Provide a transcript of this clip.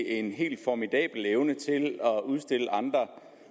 en helt formidabel evne til at udstille andre